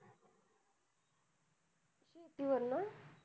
शेतीवर ना?